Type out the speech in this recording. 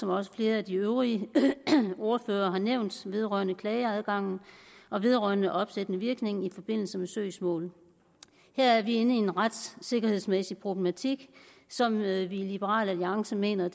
også flere af de øvrige ordførere har nævnt vedrørende klageadgangen og vedrørende opsættende virkning i forbindelse med søgsmålet her er vi inde i en retssikkerhedsmæssig problematik som vi i liberal alliance mener